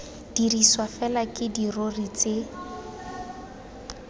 dirisiwa fela ke dirori tse